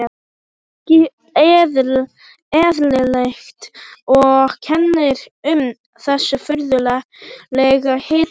Ekki eðlilegt, og kennir um þessu furðulega hitakófi.